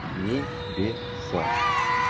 небесах